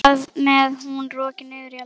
Þar með er hún rokin niður í eldhús.